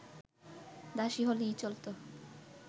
দাসী হলেই চলতো